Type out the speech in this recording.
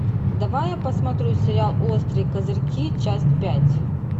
давай я посмотрю сериал острые козырьки часть пять